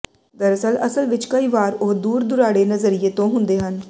ਦਰਅਸਲ ਅਸਲ ਵਿਚ ਕਈ ਵਾਰ ਉਹ ਦੂਰ ਦੁਰਾਡੇ ਨਜ਼ਰੀਏ ਤੋਂ ਹੁੰਦੇ ਹਨ